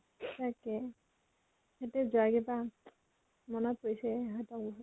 তাকে । সেইতো যোৱা কেইতা, মনত পৰিছে সিহঁতক বহুত